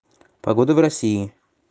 погода в россии